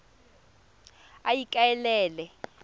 ikaelele